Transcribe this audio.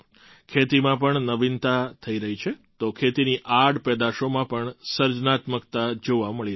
ખેતીમાં પણ નવીનતા થઈ રહી છે તો ખેતીની આડ પેદાશોમાં પણ સર્જનાત્મકતા જોવામાં આવી રહી છે